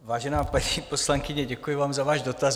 Vážená paní poslankyně, děkuji vám za váš dotaz.